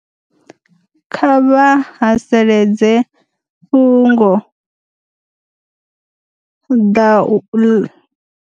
Kha vha haseledze fhungo ḓa u.